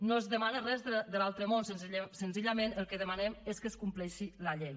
no es demana res de l’altre món senzillament el que demanem és que es compleixi la llei